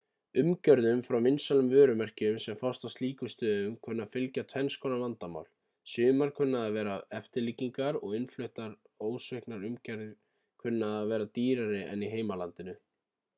umgjörðum frá vinsælum vörumerkjum sem fást á slíkum stöðum kunna að fylgja tvennskonar vandamál sumar kunna að vera eftirlíkingar og innfluttar ósviknar umgjarðir kunna að vera dýrari en í heimalandinu